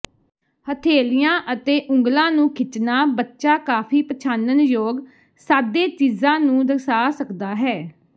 ਹਥੇਲੀਆਂ ਅਤੇ ਉਂਗਲਾਂ ਨੂੰ ਖਿੱਚਣਾ ਬੱਚਾ ਕਾਫ਼ੀ ਪਛਾਣਨਯੋਗ ਸਾਦੇ ਚੀਜ਼ਾਂ ਨੂੰ ਦਰਸਾ ਸਕਦਾ ਹੈ